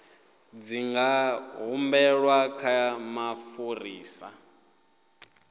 dzi nga humbelwa kha mufarisa